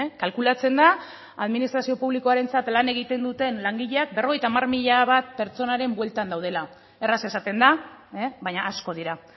kalkulatzen da administrazio publikoarentzat lan egiten duten langileak berrogeita hamar mila bat pertsonaren buelta daudela erraz esaten da baina asko dira